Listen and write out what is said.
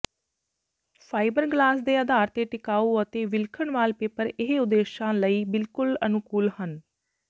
fibreglass ਦੇ ਆਧਾਰ ਤੇ ਟਿਕਾਊ ਅਤੇ ਵਿਲੱਖਣ ਵਾਲਪੇਪਰ ਇਹ ਉਦੇਸ਼ਾਂ ਲਈ ਬਿਲਕੁਲ ਅਨੁਕੂਲ ਹਨ